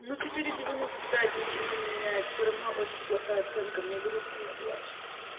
ну четыре девяносто пять ничего не меняет все равно очень плохая оценка мне грустно я плачу